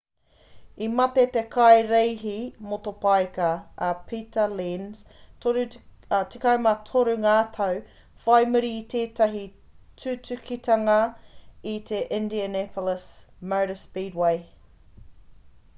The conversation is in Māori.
i mate te kaireihi motopaika a pita lenz 13 ngā tau whai muri i tētahi tutukitanga i te indianapolis motor speedway